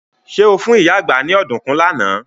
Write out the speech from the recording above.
Ṣé o fún ìyá àgbá ní ọ̀dùnkún lánàá?